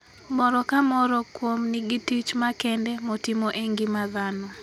Moro ka moro kuom nigi tich makende motimo e ngima dhano.